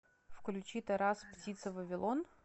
включи тарас птица вавилон